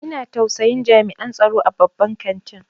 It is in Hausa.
Ina tausayin jami'an tsaro a babban kantin.